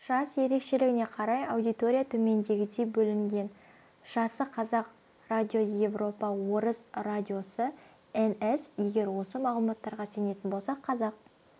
жас ерекшелігіне қарай аудитория төмендегідей бөлінген жасықазақ радиосыевропа орыс радиосыэн-эс егер осы мағлұматтарға сенетін болсақ қазақ